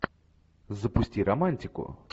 запусти романтику